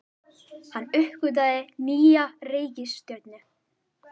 Hann uppgötvaði nýja reikistjörnu!